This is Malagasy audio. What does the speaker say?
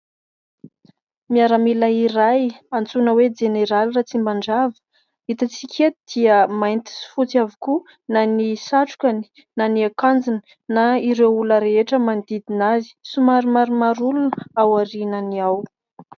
Miaramila iray antsoina hoe : Jeneraly Ratsimandrava. Hitantsika eto dia mainty sy fotsy avokoa na ny satrokany na ny akanjony na ireo olona rehetra manodidina azy ; Somary maromaro olona aorianany ao.